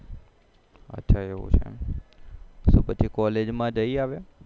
તો પછી કોલેજ માં જઈ એ હવે